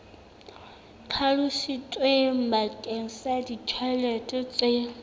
hlalositsweng bakeng sa ditjhelete tse